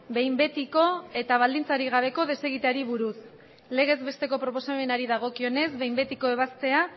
behin betiko eta baldintzarik gabeko desegiteari buruz legez besteko proposamenari dagokionez behin betiko ebaztea